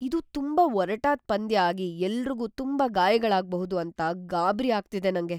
ಇದು ತುಂಬಾ ಒರಟಾದ್‌ ಪಂದ್ಯ ಆಗಿ ಎಲ್ರಿಗೂ ತುಂಬಾ ಗಾಯಗಳಾಗ್ಬಹುದು ಅಂತ ಗಾಬ್ರಿ ಆಗ್ತಿದೆ ನಂಗೆ.